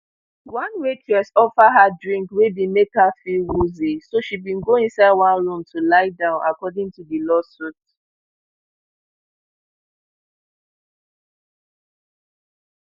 one waitress offer her drink wey dey make her feel woozy so she bin go inside one room to lie down according to di lawsuit